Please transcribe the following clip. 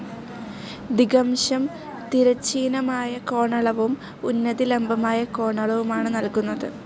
ദിഗംശം തിരശ്ചീനമായി കോണളവും ഉന്നതി ലംബമായ കോണളവുമാണ് നൽകുന്നത്.